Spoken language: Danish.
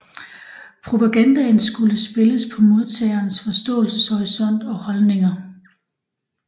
Propagandaen skulle spille på modtagerens forståelseshorisont og holdninger